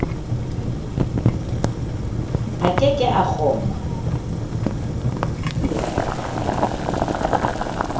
a ke ke a kgona